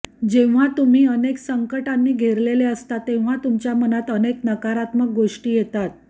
जेव्हा तुम्ही अनेक संकंटांनी घेरलेले असता तेव्हा तुमच्या मनात अनेक नकारात्मक गोष्टी येतात